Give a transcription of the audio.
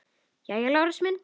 Jæja, Lárus minn.